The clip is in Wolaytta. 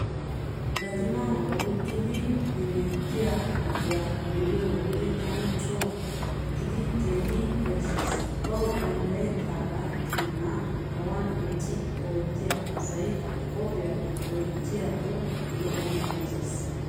Gatimaa oyqqidi hemettiyaa xaaciyaa be'iyo wode tana coo gididi keehi yashshees. Bawu danddayettaagaa keenaa awan eqqidi oottiyaa asay qophiyaa wottiyaakko lo'o malatees.